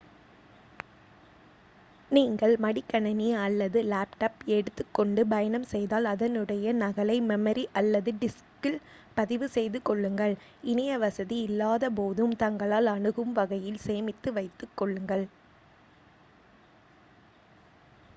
நீங்கள் மடிக்கணினி அல்லது டேப்லட் எடுத்துக்கொண்டு பயணம் செய்தால் அதனுடைய நகலை மெமரி அல்லது டிஸ்கில் பதிவு செய்து கொள்ளுங்கள் இணையவசதி இல்லாதபோதும் தங்களால் அணுகும் வகையில் சேமித்து வைத்துக் கொள்ளுங்கள்